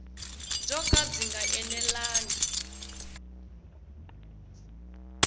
byo ka byi nga enelangi